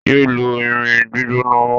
Yéé lu irin gbígbóná mọ́!